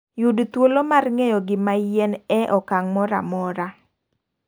Yud thuolo mar ng'eyo gima yiien e okang' moro amora.